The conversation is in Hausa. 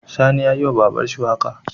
Sani yayi wa babanshi waƙa